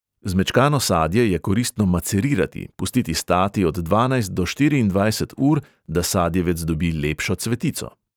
Zmečkano sadje je koristno macerirati, pustiti stati od dvanajst do štiriindvajset ur, da sadjevec dobi lepšo cvetico.